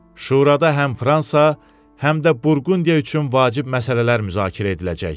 Şurada həm Fransa, həm də Burqundiya üçün vacib məsələlər müzakirə ediləcək.